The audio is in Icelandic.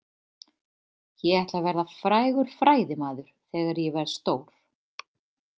Ég ætla að verða frægur fræðimaður þegar ég verð stór.